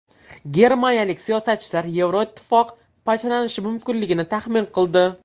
Germaniyalik siyosatchilar Yevroittifoq parchalanishi mumkinligini taxmin qildi.